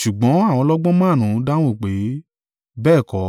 “Ṣùgbọ́n àwọn ọlọ́gbọ́n márùn-ún dáhùn pé, bẹ́ẹ̀ kọ́;